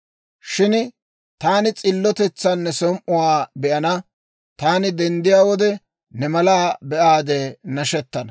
Shin taani s'illotetsan ne som"iyaa be'ana. Taani denddiyaa wode, ne mala be'aade nashettana.